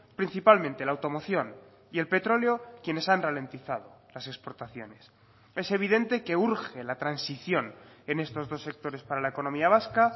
principalmente la automoción y el petróleo quienes han ralentizado las exportaciones es evidente que urge la transición en estos dos sectores para la economía vasca